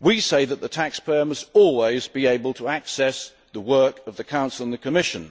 we say that the taxpayer must always be able to access the work of the Council and the Commission.